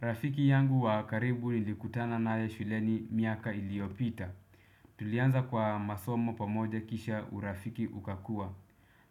Rafiki yangu wa karibu nilikutana naye shuleni miaka iliyopita. Tulianza kwa masomo pamoja kisha urafiki ukakua.